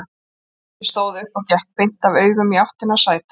Ég stóð upp og gekk beint af augum í áttina að sæti hans.